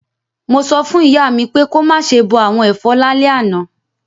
Mo so fún ìyá mi pé ko máse bo àwon èfọ́ lálẹ́ àná